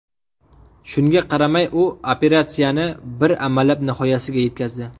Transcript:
Shunga qaramay, u operatsiyani bir amallab nihoyasiga yetkazdi.